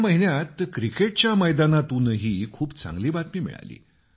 या महिन्यात क्रिकेटच्या मैदानातूनही खूप चांगली बातमी मिळाली